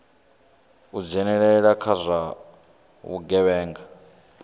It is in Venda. u dzhenelela kha zwa vhugevhenga